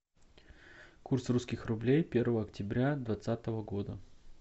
курс русских рублей первого октября двадцатого года